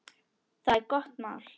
Það er gott mál.